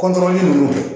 ninnu